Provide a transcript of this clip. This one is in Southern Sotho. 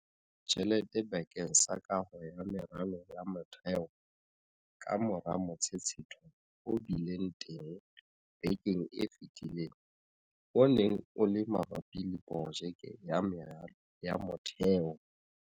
Tjhelete bakeng sa kaho ya meralo ya motheo kamora motshetshetho o bileng teng bekeng e fetileng o neng o le mabapi le projeke ya meralo ya motheo.